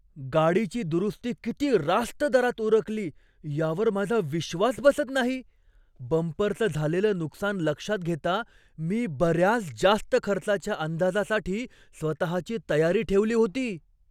गाडीची दुरुस्ती किती रास्त दरात उरकली यावर माझा विश्वास बसत नाही! बंपरचं झालेलं नुकसान लक्षात घेता मी बऱ्याच जास्त खर्चाच्या अंदाजासाठी स्वतःची तयारी ठेवली होती.